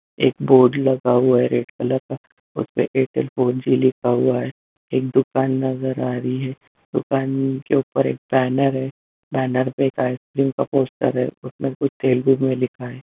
एक बोर्ड लगा हुआ हैं रेड कलर का उसमे एयरटेल फोर जी लिखा हुआ हैं एक दुकान नजर आ रही हैं दुकान के ऊपर बैनर हैं बैनर पे आइसक्रीम का पोस्टर हैं उसमे कुछ तेलगु में लिखा हैं।